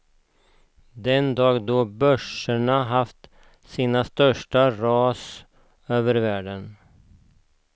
Den dag då börserna haft sina största ras världen över.